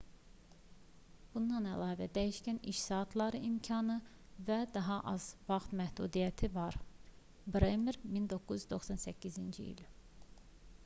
bundan əlavə dəyişkən iş saatları imkanı və daha az vaxt məhdudiyyəti də var bremer 1998